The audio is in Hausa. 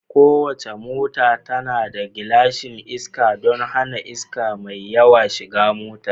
Kowace mota tana da glashin iska don hana iska mai yawa shiga motar